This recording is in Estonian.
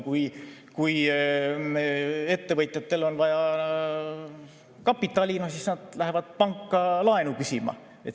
Kui ettevõtjatel on vaja kapitali, siis nad lähevad panka laenu küsima.